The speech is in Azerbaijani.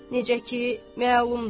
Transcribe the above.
necə ki, məlumdur.